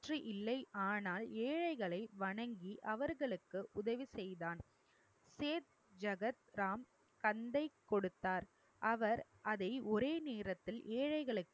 பற்று இல்லை ஆனால் ஏழைகளை வணங்கி அவர்களுக்கு உதவி செய்தான். சேத் ஜகத் ராம் கந்தை கொடுத்தார் அவர் அதை ஒரே நேரத்தில் ஏழைகளுக்கு